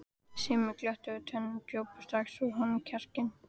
Sumir glottu við tönn og drógu strax úr honum kjarkinn.